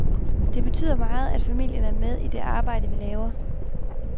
Det betyder meget, at familien er med i det arbejde, vi laver.